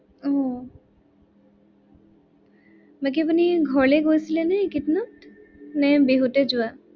আহ বাকী আপুনি ঘৰলে গৈছিলে নে একেইদিনত, নে বিহুতে যোৱা?